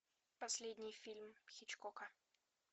последний фильм хичкока